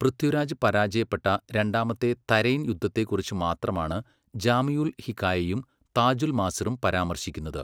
പൃഥ്വിരാജ് പരാജയപ്പെട്ട രണ്ടാമത്തെ തരൈൻ യുദ്ധത്തെക്കുറിച്ച് മാത്രമാണ്, ജാമിഉൽ ഹികായയും താജുൽ മാസിറും പരാമർശിക്കുന്നത്.